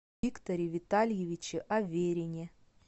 викторе витальевиче аверине